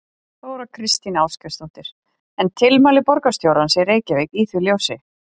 Þóra Kristín Ásgeirsdóttir: En tilmæli borgarstjórans í Reykjavík í því ljósi?